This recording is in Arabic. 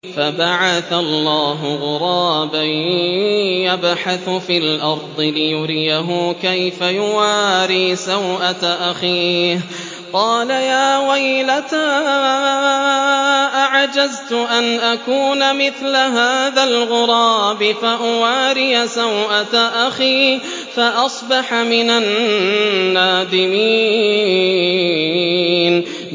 فَبَعَثَ اللَّهُ غُرَابًا يَبْحَثُ فِي الْأَرْضِ لِيُرِيَهُ كَيْفَ يُوَارِي سَوْءَةَ أَخِيهِ ۚ قَالَ يَا وَيْلَتَا أَعَجَزْتُ أَنْ أَكُونَ مِثْلَ هَٰذَا الْغُرَابِ فَأُوَارِيَ سَوْءَةَ أَخِي ۖ فَأَصْبَحَ مِنَ النَّادِمِينَ